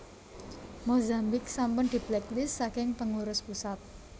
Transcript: Mozambik sampun diblacklist saking pengurus pusat